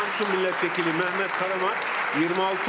Samsun millət vəkili Mehmet Karaman, 26 səs.